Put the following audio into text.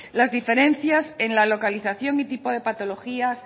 las diferencias en la localización y tipo de patologías